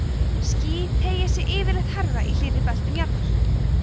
ský teygja sig yfirleitt hærra í hlýrri beltum jarðar